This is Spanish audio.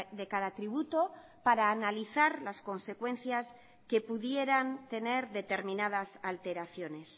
de cada tributo para analizar las consecuencias que pudieran tener determinadas alteraciones